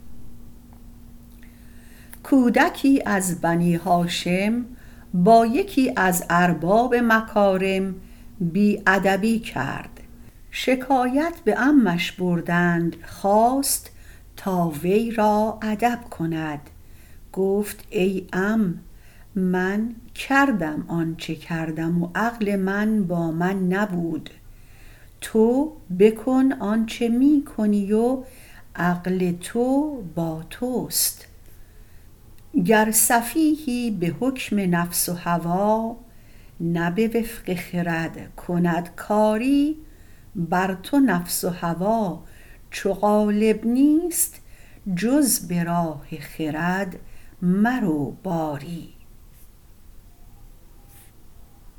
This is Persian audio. کودکی از بنی هاشم با یکی از ارباب مکارم بی ادبی کرد شکایت به عمش بردند خواست تا وی را ادب کند گفت ای عم من کردم آنچه کردم و عقل من با من نبود تو بکن آنچه می کنی و عقل تو با توست گر سفیهی به حکم نفس و هوا نه به وفق خرد کند کاری بر تو نفس و هوا چو غالب نیست جز به راه خرد مرو باری